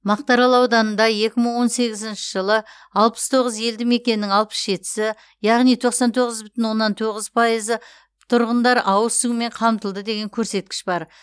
мақтаарал ауданында екі мың он сегізінші жылы алпыс тоғыз елді мекеннің алпыс жетісі яғни тоқсан тоғыз бүтін оннан тоғыз пайызы тұрғындар ауыз сумен қамтылды деген көрсеткіш бар